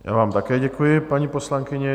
Já vám také děkuji, paní poslankyně.